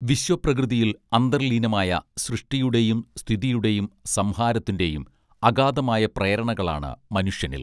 വിശ്വപ്രകൃതിയിൽ അന്തർലീനമായ സൃഷ്ടിയുടെയും സ്ഥിതിയുടെയും സംഹാരത്തിന്റെയും അഗാതമായ പ്രേരണകളാണ് മനുഷ്യനിൽ